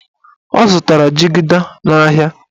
Ọ zụtara jigida n'ahịa.